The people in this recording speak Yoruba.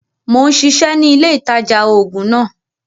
Mo ń ṣiṣẹ́ ni ilé ìtajà-oògùn náà